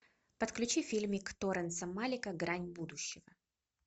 подключи фильмик теренса малика грань будущего